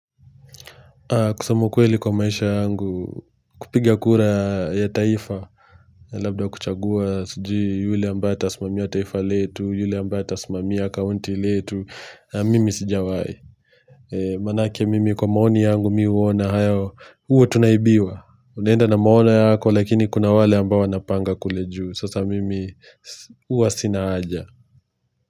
Kusema ukweli kwa maisha yangu kupiga kura ya taifa Labda kuchagua sijui yule ambaye atasimamia taifa letu yule ambaye atasimami ya kaunti letu Mimi sijawai Manake mimi kwa maoni yangu mi huona hayo huwa tunaibiwa. Unaenda na maono yako lakini kuna wale ambao wanapanga kule juu. Sasa mimi huwa Sina haja.